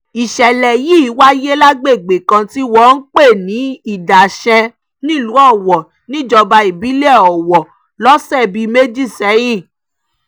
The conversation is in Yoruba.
ìṣẹ̀lẹ̀ yìí wáyé lágbègbè kan tí wọ́n ń pè ní idashen nílùú owó níjọba ìbílẹ̀ owó lọ́sẹ̀ bíi méjì sẹ́yìn